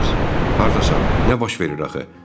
Ceyms, hardasan, nə baş verir axı?